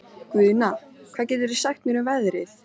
Guðna, hvað geturðu sagt mér um veðrið?